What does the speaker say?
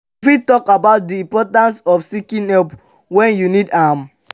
you fit talk about di importance of seeking help when you need am?